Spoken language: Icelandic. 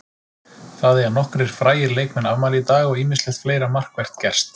Það eiga nokkrir frægir leikmann afmæli í dag og ýmislegt fleira markvert gerst.